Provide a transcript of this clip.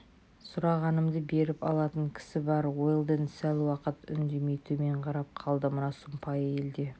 сұрағанымды беріп алатын кісі бар уэлдон сәл уақыт үндемей төмен қарап қалды мына сұмпайы елде